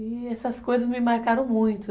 E essas coisas me marcaram muito, né?